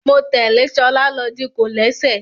Mo tẹ́lẹ̀ ṣọlá lọ di kòlẹ́sẹ̀